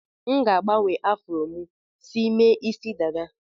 M ga-agbanwe afro m si mee isi dada.